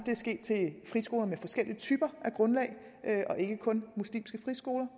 at friskoler med forskellige typer af grundlag og ikke kun muslimske friskoler